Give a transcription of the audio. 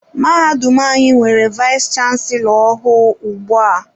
Mahadum anyị nwere vayis chansilọ ọhụụ ugbu a.